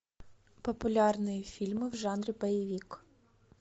популярные фильмы в жанре боевик